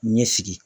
Ɲɛ sigi